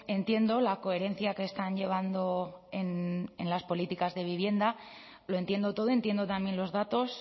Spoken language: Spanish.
entiendo la coherencia que están llevando en las políticas de vivienda lo entiendo todo entiendo también los datos